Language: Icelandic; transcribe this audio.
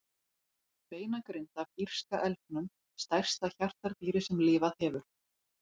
Beinagrind af írska elgnum, stærsta hjartardýri sem lifað hefur.